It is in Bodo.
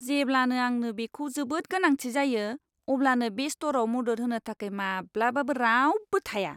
जेब्लानो आंनो बेखौ जोबोद गोनांथि जायो अब्लानो बे स्ट'रआव मदद होनो थाखाय माब्लाबाबो रावबो थाया।